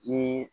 Ni